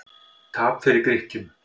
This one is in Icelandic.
Tap fyrir Grikkjum